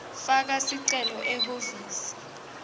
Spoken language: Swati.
faka sicelo ehhovisi